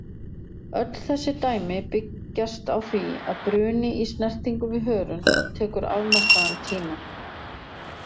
Öll þessi dæmi byggjast á því að bruni í snertingu við hörund tekur afmarkaðan tíma.